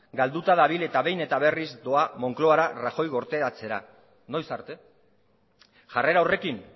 galduta dabil eta behin eta berriz doa moncloara rajoy gorteatzera noiz arte jarrera horrekin